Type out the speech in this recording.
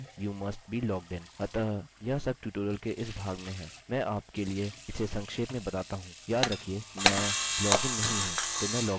अतः यह सब ट्यूटोरियल के इस भाग में है मैं आपके लिए इसे संक्षेप में बताता हूँ